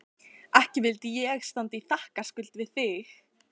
Ekki vildi ég standa í þakkarskuld við þig